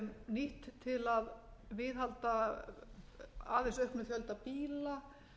nýtt til að viðhalda aðeins auknum fjölda bíla